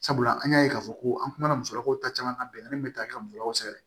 Sabula an y'a ye k'a fɔ ko an kumana musolakaw ta caman ka bɛnkanin bɛ taa ka musow sɛgɛn